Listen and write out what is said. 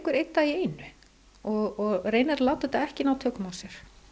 einn dag í einu og reynir að láta þetta ekki ná tökum á sér